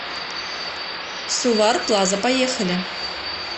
сувар плаза поехали